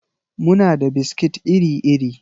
Muna da biskit iri-iri.